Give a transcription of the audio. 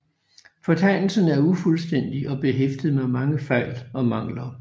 Fortegnelsen er ufuldstændig og behæftet med mange fejl og mangler